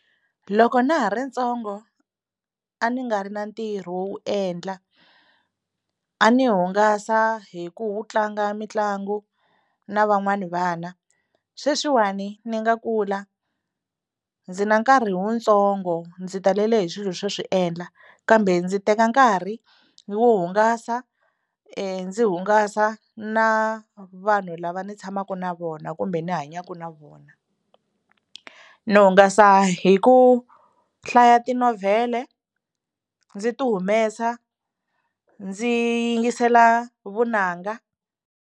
Loko na ha ri ntsongo a ni nga ri na ntirho wo wu endla a ni hungasa hi ku u tlanga mitlangu na van'wani vana, sweswiwani ni nga kula ndzi na nkarhi wutsongo ndzi talele hi swilo swo swi endla kambe ndzi teka nkarhi wo hungasa ndzi hungasa na vanhu lava ni tshamaka na vona kumbe ni hanyaka na vona. Ni hungasa hi ku hlaya tinovhele ndzi ti humesa ndzi yingisela vunanga.